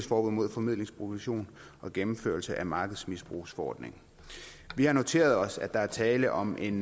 forbud mod formidlingsprovision og gennemførelse af markedsmisbrugsforordningen vi har noteret os at der er tale om en